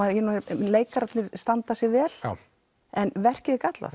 leikararnir standa sig vel en verkið er gallað